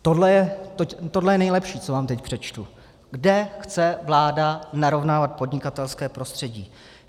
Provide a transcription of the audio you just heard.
Tohle je nejlepší, co vám teď přečtu, kde chce vláda narovnávat podnikatelské prostředí.